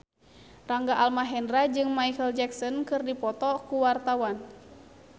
Rangga Almahendra jeung Micheal Jackson keur dipoto ku wartawan